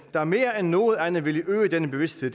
der mere end noget andet ville øge denne bevidsthed